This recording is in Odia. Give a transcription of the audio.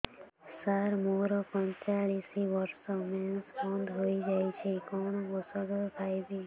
ସାର ମୋର ପଞ୍ଚଚାଳିଶି ବର୍ଷ ମେନ୍ସେସ ବନ୍ଦ ହେଇଯାଇଛି କଣ ଓଷଦ ଖାଇବି